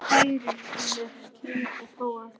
Hrærir í með sleif og prófar aftur.